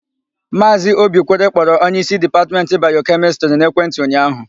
Maazị Obikwere kpọrọ onyeísí Dipatmentị Bayokemịstịrị n'ekwentị ụnyaahụ.